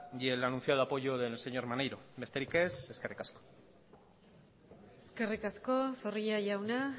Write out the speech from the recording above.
y el anunciado apoyo del señor maneiro besterik ez eskerrik asko eskerrik asko zorrilla jauna